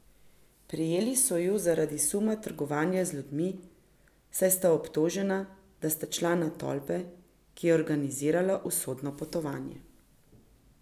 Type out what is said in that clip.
Prijeli so ju zaradi suma trgovanja z ljudmi, saj sta obtožena, da sta člana tolpe, ki je organizirala usodno potovanje.